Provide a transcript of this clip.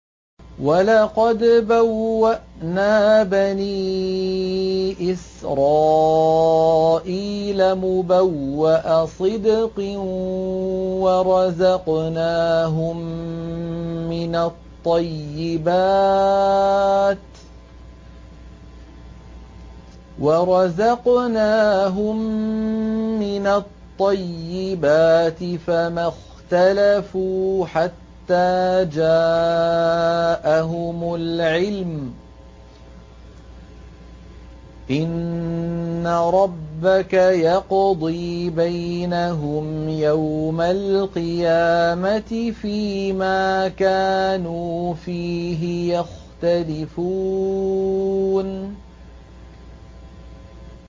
وَلَقَدْ بَوَّأْنَا بَنِي إِسْرَائِيلَ مُبَوَّأَ صِدْقٍ وَرَزَقْنَاهُم مِّنَ الطَّيِّبَاتِ فَمَا اخْتَلَفُوا حَتَّىٰ جَاءَهُمُ الْعِلْمُ ۚ إِنَّ رَبَّكَ يَقْضِي بَيْنَهُمْ يَوْمَ الْقِيَامَةِ فِيمَا كَانُوا فِيهِ يَخْتَلِفُونَ